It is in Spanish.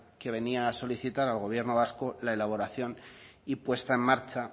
que venía a solicitar al gobierno vasco la elaboración y puesta en marcha